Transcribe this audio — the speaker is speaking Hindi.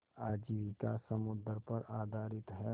आजीविका समुद्र पर आधारित है